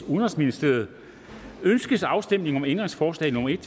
udenrigsministeriet ønskes afstemning om ændringsforslag nummer en